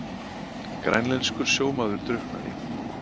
Grænlenskur sjómaður drukknaði